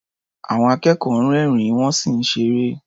Àwọn akẹ́kọ̀ọ́ ń rẹ́rìn-ín, wọ́n sì ń ṣeré.